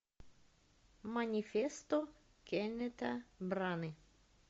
манифесто кеннета браны